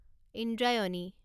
Indrayani